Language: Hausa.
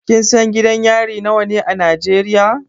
Kin san gidan yari nawa ne a Najeriya?